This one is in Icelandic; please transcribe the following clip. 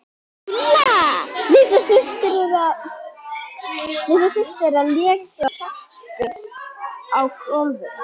Dúlla litla systir þeirra lék sér á teppi á gólfinu.